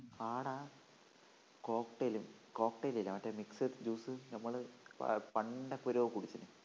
അവിടെ cocktail cocktail ഇല്ലേ മറ്റേ mixed juice നമ്മള് പണ്ടെപ്പോഴോ കുടിച്ചിനി